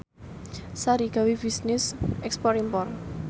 Sari gawe bisnis ekspor impor